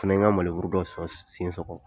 fana ye n ka maneburu dɔ sɔn sen sɔgɔ.